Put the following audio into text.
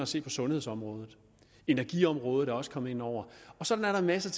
ser på sundhedsområdet energiområdet er også kommet ind over og sådan er der masser